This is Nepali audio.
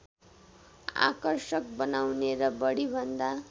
आकर्षक बनाउने र बढिभन्दा